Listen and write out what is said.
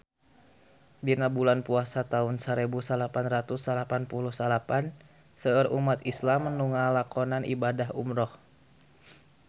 Dina bulan Puasa taun sarebu salapan ratus salapan puluh salapan seueur umat islam nu ngalakonan ibadah umrah